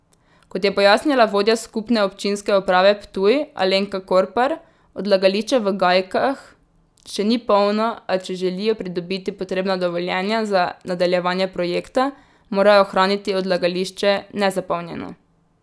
Kot je pojasnila vodja Skupne občinske uprave Ptuj Alenka Korpar, odlagališče v Gajkah še ni polno, a če želijo pridobiti potrebna dovoljenja za nadaljevanje projekta, morajo ohraniti odlagališče nezapolnjeno.